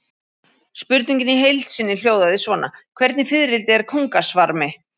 Spurningin í heild sinni hljóðaði svona: Hvernig fiðrildi er kóngasvarmi?